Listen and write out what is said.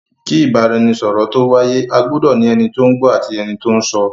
Kí Ìbáraẹnisọ̀rọ̀ tó wáyé, a gbudọ ní ẹni tí ó ń gbọ́ àti ẹni tí ó ń sọ.